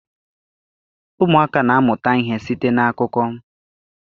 Ụmụaka na-amụta ihe site n'akụkọ.